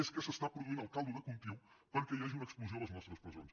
és que s’està produint el caldo de cultiu perquè hi hagi una explosió a les nostres presons